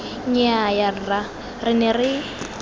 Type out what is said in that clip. nnyaya rra re ne re